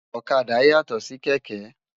Òkàdá yátò si kèkè